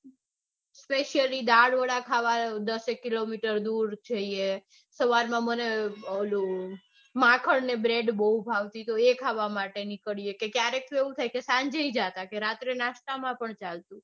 specialy દાળવડા ખાવા દસેક કિલોમીટર દૂર જઇયે. સવારમાં મને પેલું માખણ ને bred બૌ ભાવતી તો એ ખાવા નીકળીએ. કે ક્યારેક તો એવું થાય કે સાંજે ય જાતા તો રાત્રે નાસ્તા માં પણ ચાલતું.